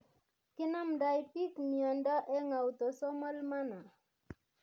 Kinamdai piik miondo eng autosomal manner